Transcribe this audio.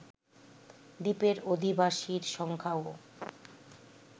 দ্বীপের অধিবাসীর সংখ্যাও